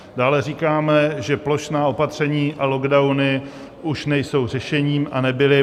Dále říkáme, že plošná opatření a lockdowny už nejsou řešením a nebyly.